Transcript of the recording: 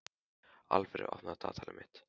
Alfreð, opnaðu dagatalið mitt.